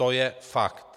To je fakt.